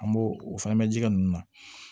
An b'o o fana bɛ ji kɛ ninnu na